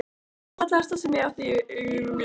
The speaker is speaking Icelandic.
Það var það fallegasta sem ég átti í eigu minni.